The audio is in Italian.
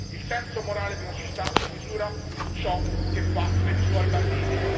Il senso morale di una società si misura su ciò che fa per i suoi bambini.